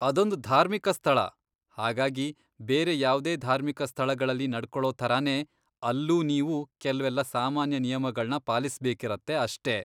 ಅದೊಂದ್ ಧಾರ್ಮಿಕ ಸ್ಥಳ. ಹಾಗಾಗಿ ಬೇರೆ ಯಾವ್ದೇ ಧಾರ್ಮಿಕ ಸ್ಥಳಗಳಲ್ಲಿ ನಡ್ಕೊಳೋ ಥರನೇ ಅಲ್ಲೂ ನೀವು ಕೆಲ್ವೆಲ್ಲ ಸಾಮಾನ್ಯ ನಿಯಮಗಳ್ನ ಪಾಲಿಸ್ಬೇಕಿರತ್ತೆ ಅಷ್ಟೇ.